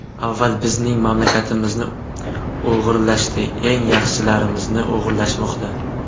Avval bizning mamlakatimizni o‘g‘irlashdi, eng yaxshilarimizni o‘g‘irlashmoqda.